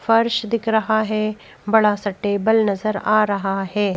फर्श दिख रहा है बड़ा सा टेबल नजर आ रहा है।